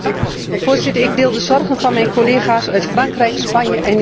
Ik deel de zorgen van mijn collega's uit Frankrijk, Spanje en Italië.